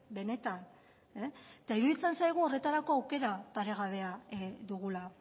benetan eta iruditzen zaigu horretarako aukera paregabea dugula